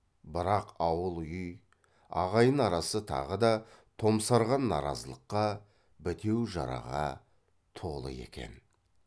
бірақ ауыл үй ағайын арасы тағы да томсарған наразылыққа бітеу жараға толы екен